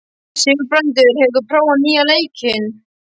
Sigurbrandur, hefur þú prófað nýja leikinn?